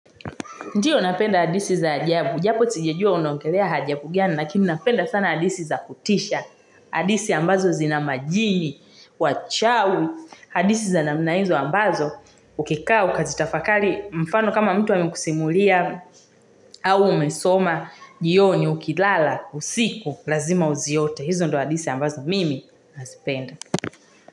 Ndiyo napenda hadithi za ajabu, japo sijajua unaongelea ajabu gani, lakini napenda sana hadithi za kutisha. Hadithi ambazo zina majini, wachawi, hadithi za namna hizo ambazo, ukikaa ukazitafakari, mfano kama mtu amekusimulia au umesoma, jioni ukilala, usiku lazima uziote. Hizo ndio hadithi ambazo mimi nazipenda.